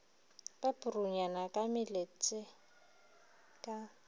ba purunyana ka meletse ka